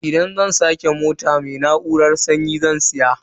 Idan zan sake siyan mota, mai na'urar sanyi zan siya.